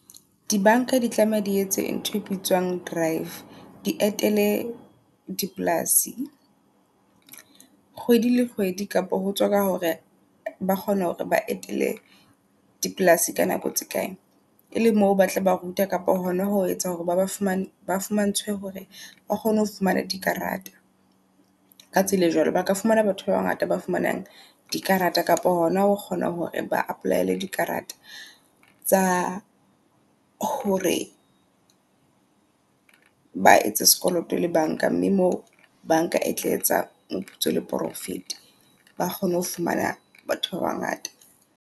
Di bank-a di tlameha di etse ntho e bitswang drive, di etele di polasi kgwedi le kgwedi. Kapa hotswa ka hore ba kgone hore ba etele di polasi ka nako tse kae, e le mo batle ba ruta kapa hona ho etsa hore ba ba fumane ba fumantshwe hore ba kgone ho fumana di karata. Ka tsela e jwalo, baka fumana batho ba ba ngata ba fumanang di karata kapa hona o kgona hore ba apply-ele di karata. Tsa hore ba etse sekoloto le bank-a mme mo bank-a e tla etsa moputso le profit. Ba kgone ho fumana batho ba ba ngata.